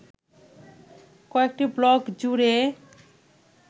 কয়েকটি ব্লক জুড়ে